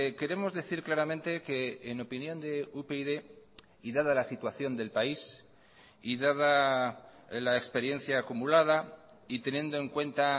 queremos decir claramente que en opinión de upyd y dada la situación del país y dada la experiencia acumulada y teniendo en cuenta